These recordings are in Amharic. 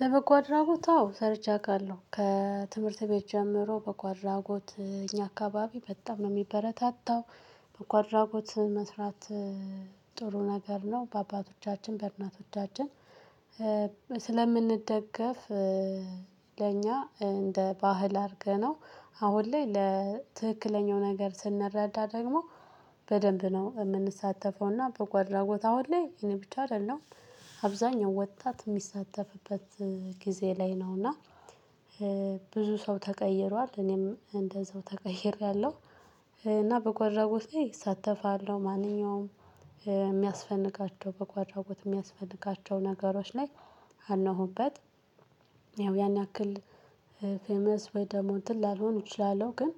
ለበጎ አድራጎት አዎ ሰርቼ አውቃለሁ ከትምህርት ቤት ጀምሮ በጎ አድራጎት እኛ አካባቢ በጣም ነው የሚበረታታው። በጎ አድራጎት መስራት። ጥሩ ነገር ነው በአባቶቻችን በእናቶቻችንስለምንደገፍ ለእኛ እንደ ባህል አድርገነው አሁን ላይ ለትክክለኛው ነገር ስንረዳ ደግሞ። በደንብ ነው የምንሳተፈውና በጎ አድራጎት አሁን ላይ እኔ ብቻ አይደለም አብዛኛው ወጣት የሚሳተፍበት ጊዜ ላይ ነውና። ብዙ ሰው ተቀይሯል እኔም እንደዛው ተቀይሬያለሁ። እና በጎ አድራጎት ላይ እሳተፋለሁ ማንኛውም የሚያስፈልጋቸው በጎ አድራጎት የሚያስፈልጋቸው ነገሮች ላይ አለሁበት። ያው ያን ያክል ፌመስ ወይ ደግሞ እንትን ላልሆን እችላለሁ ግን።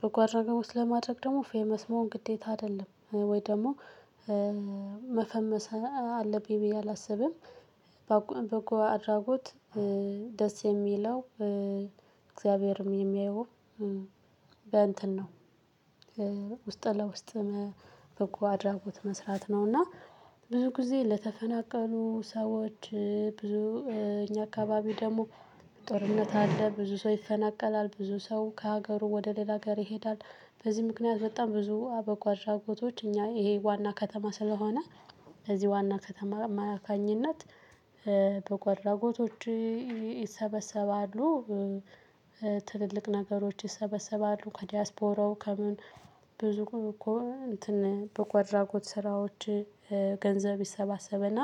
በጎ አድራጎት ለማድረግ ደግሞ ፌመስ መሆን ግዴታ አይደለም ወይ ደግሞ መፈመስ አለብኝ ብዬ አላስብም። በጎ አድራጎት ደስ የሚለው እግዚአብሔርም የሚያየው በእንትን ነው ውስጥ ለውስጥ በጎ አድራጎት መስራት ነው። እና ብዙ ጊዜ ለተፈናቀሉ ሰዎች ብዙ እኛ አካባቢ ደግሞ ጦርነት አለ ብዙ ሰው ይፈናቀላል ብዙ ሰው ከሀገሩ ወደ ሌላ ሀገር ይሄዳል። በዚህ ምክንያት በጣም ብዙ አበጓ አድራጎቶች እኛ ይሄ ዋና ከተማ ስለሆነ በዚህ ዋና ከተማ አማካኝነት በጎ አድራጎቶች ይሰበሰባሉ። ትልልቅ ነገሮች ይሰበሰባሉ ከዲያስፖራው ከምን ብዙ እንትን በጎ አድራጎት ስራዎች ገንዘብ ይሰባሰብና።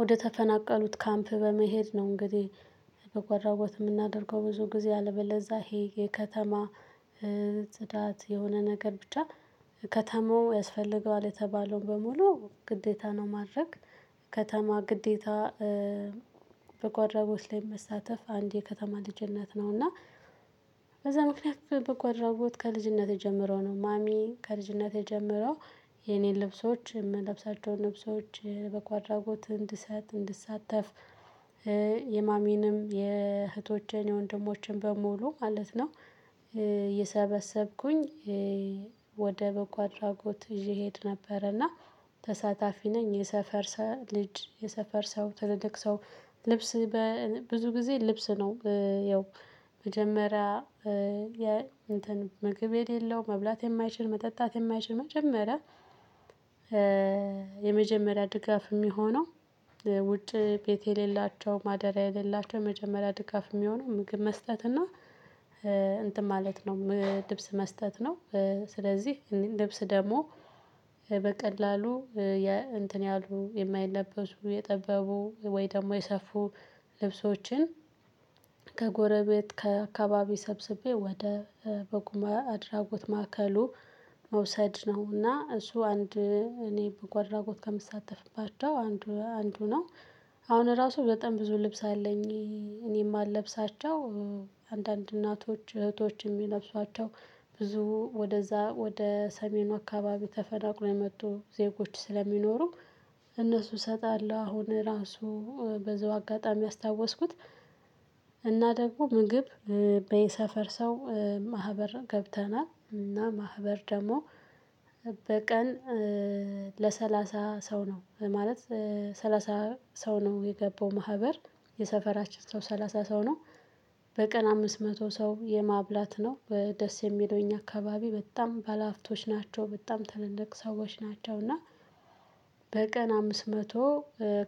ወደ ተፈናቀሉት ካምፕ በመሄድ ነው እንግዲህ። በጎ አድራጎት የምናደርገው ብዙ ጊዜ አለበለዛ ይሄ የከተማ ጽዳት የሆነ ነገር ብቻ ከተማው ያስፈልገዋል የተባለውን በሙሉ ግዴታ ነው ማድረግ። ከተማ ግዴታ በጎ አድራጎት ላይ መሳተፍ አንድ የከተማ ልጅነት ነው እና። በዛ ምክንያት በጎ ከልጅነቴ ጀምሮ ነው ማሚ ከልጅነቴ ጀምሮ የኔን ልብሶች የምለብሳቸውን ልብሶች በጎ አድራጎት እንድሰጥ እንድሳተፍ። የማሚንም የእህቶቼን የወንድሞቼን በሙሉ ማለት ነው። የሰበሰብኩኝ ወደ በጎ አድራጎት እየሄድ ነበርና። ተሳታፊ ነኝ የሰፈር ሰው ልጅ የሰፈር ሰው ትልልቅ ሰው ልብስ ብዙ ጊዜ ልብስ ነው ያው። መጀመሪያ የእንትን ምግብ የሌለው መብላት የማይችል መጠጣት የማይችል መጀመሪያ የመጀመሪያ ድጋፍ የሚሆነው። ውጭ ቤት የሌላቸው ማደሪያ የሌላቸው የመጀመሪያ ድጋፍ የሚሆነው ምግብ መስጠት እና እንትን ማለት ነው ልብስ መስጠት ነው። ስለዚህ ልብስ ደግሞ በቀላሉ እንትን ያሉ የማይለበሱ የጠበቡ ወይ ደግሞ የሰፉ ልብሶችን ከጎረቤት ከአካባቢ ሰብስቤ ወደ በጉ አድራጎት ማዕከሉ። መውሰድ ነውና እሱ አንድ እኔ በጉ አድራጎት ከምሳተፍባቸው አንዱ አንዱ ነው። አሁን ራሱ በጣም ብዙ ልብስ አለኝ። እኔ የማለብሳቸው አንዳንድ እናቶች እህቶች የሚለብሷቸው ብዙ ወደዛ ወደ ሰሜኑ አካባቢ ተፈናቅለው የመጡ ዜጎች ስለሚኖሩ። እነሱ እሰጣለሁ አሁን ራሱ በዛው አጋጣሚ ያስታወስኩት። እና ደግሞ ምግብ በየሰፈር ሰው ማህበር ገብተናል እና ማህበር ደግሞ በቀን ለሰላሳ ሰው ነው ማለት ሰላሳ ሰው ነው የገባው ማህበር። የሰፈራችን ሰው ሰላሳ ሰው ነው። በቀን አምስት መቶ ሰው የማብላት ነው ደስ የሚለው የኛ አካባቢ በጣም ባለሀብቶች ናቸው በጣም ተልልቅ ሰዎች ናቸው እና። በቀን አምስት መቶ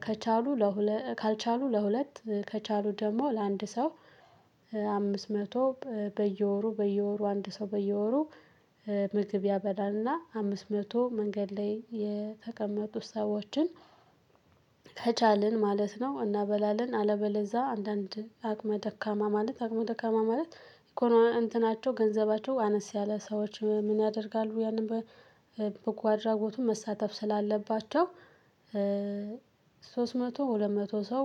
ከቻሉ ለሁለት ካልቻሉ ለሁለት ከቻሉ ደግሞ ለአንድ ሰው አምስት መቶ በየወሩ በየወሩ አንድ ሰው በየወሩ። ምግብ ያበላልና አምስት መቶ መንገድ ላይ የተቀመጡ ሰዎችን። ከቻልን ማለት ነው እናበላለን። አለበለዛ አንዳንድ አቅመ ደካማ ማለት አቅመ ደካማ ማለት እኮ ነው እንትናቸው ገንዘባቸው አነስ ያለ ሰዎች ምን ያደርጋሉ ያንን በጎ አድራጎቱ መሳተፍ ስላለባቸው። ሶስት መቶ ሁለት መቶ ሰው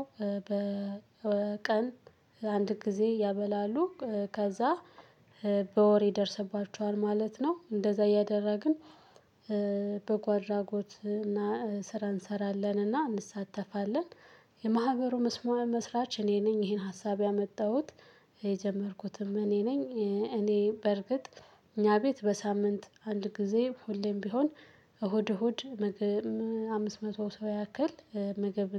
በቀን አንድ ጊዜ ያበላሉ። ከዛ በወር ይደርሰባቸዋል ማለት ነው እንደዛ እያደረግን። በጎ አድራጎት ስራ እንሰራለን እና እንሳተፋለን። የማህበሩ መስማ መስራች እኔ ነኝ ይሄን ሀሳብ ያመጣሁት። የጀመርኩትም እኔ ነኝ። እኔ በርግጥ እኛ ቤት በሳምንት አንድ ጊዜ ሁሌም ቢሆን እሁድ እሁድ ምግብ አምስት መቶ ሰው ያክል። ምግብ